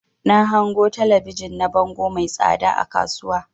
Na hango talabijin na bango mai tsada a kasuwa.